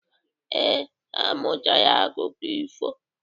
Ee, ha mụtara akụkọ ifo.